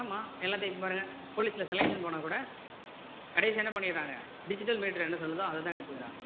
ஆமா எல்லாத்தையும் எடுத்து பாருங்க police ல selection போனா கூட கடைசியா என்ன பண்ணிடுறாங்க digital meter என்ன சொல்லுதோ அதை தான் எடுத்துக்கிறாங்க.